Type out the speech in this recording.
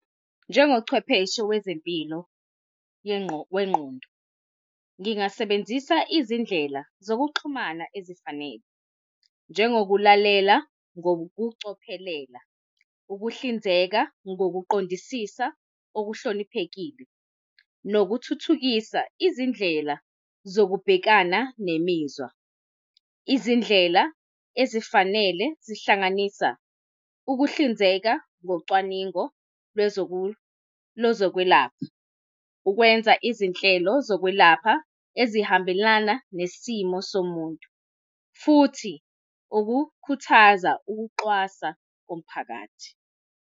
Njengochwepheshe wezempilo wengqondo, ngingasebenzisa izindlela zokuxhumana ezifanele njengokulalela ngokucophelela, ukuhlinzeka ngokuqondisisa okuhloniphekile, nokuthuthukisa izindlela zokubhekana nemizwa. Izindlela ezifanele zihlanganisa, ukuhlinzeka ngocwaningo lwezokwelapha. Ukwenza izinhlelo zokwelapha ezihambelana nesimo somuntu futhi ukukhuthaza ukuxwasa komphakathi.